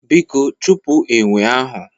Biko chụpụ enwe ahụ!